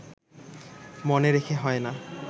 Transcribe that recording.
মনে রেখে হয় না